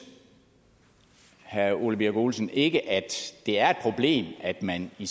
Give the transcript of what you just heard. herre ole birk olesen ikke at det er et problem at man i